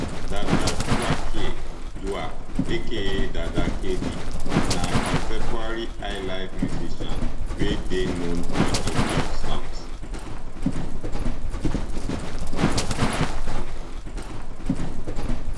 dada kwakye duah aka dada kd na contemporary highlife musician wey dey known for im love songs